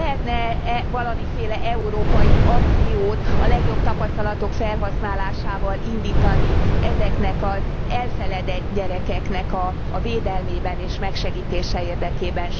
Lehetne e valamiféle európai akciót a legjobb tapasztalatok felhasználásával indítani ezeknek az elfeledett gyerekeknek a védelmében és megsegítése érdekében?